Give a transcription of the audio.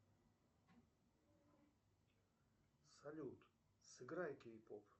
салют сыгрей кейпоп